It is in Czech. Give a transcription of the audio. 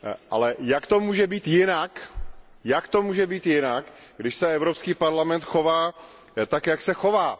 Ale jak to může být jinak, jak to může být jinak, když se Evropský parlament chová tak, jak se chová?